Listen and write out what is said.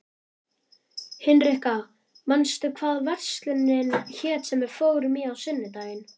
Hinrikka, manstu hvað verslunin hét sem við fórum í á sunnudaginn?